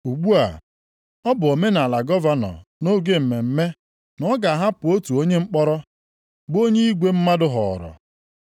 Ugbu a, ọ bụ omenaala gọvanọ nʼoge mmemme na ọ ga-ahapụ otu onye mkpọrọ, bụ onye igwe mmadụ họọrọ.